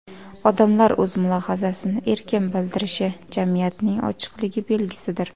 Odamlar o‘z mulohazasini erkin bildirishi jamiyatning ochiqligi belgisidir.